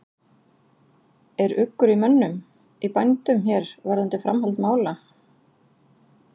Er uggur í mönnum, í bændum hér varðandi framhald mála?